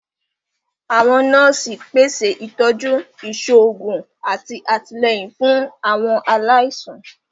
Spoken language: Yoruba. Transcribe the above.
Àwọn nọọsi pese itọju iṣoogun ati atilẹyin fun Àwọn alaisan.